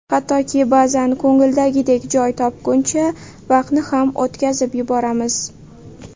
Hattoki, ba’zan ko‘ngildagidek joy topguncha vaqtni ham o‘tkazib yuboramiz.